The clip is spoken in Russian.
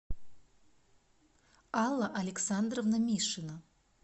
алла александровна мишина